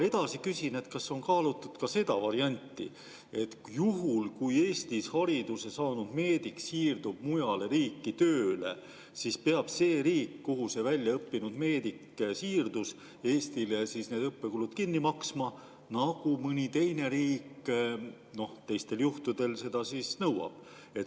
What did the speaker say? Edasi küsin, kas on kaalutud ka seda varianti, et juhul kui Eestis hariduse saanud meedik siirdub mujale riiki tööle, siis peab see riik, kuhu see väljaõppinud meedik siirdus, Eestile tema õppekulud kinni maksma, nagu mõni teine riik teistel juhtudel seda nõuab.